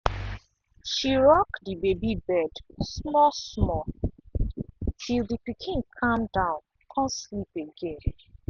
she rock the baby bed small-small till the pikin calm down con sleep again.